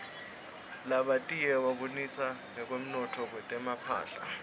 labatiye babonisa ngekwotntwa kwetmphahla